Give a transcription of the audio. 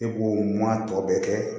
E b'o ma tɔ bɛɛ kɛ